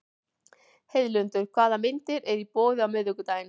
Heiðlindur, hvaða myndir eru í bíó á miðvikudaginn?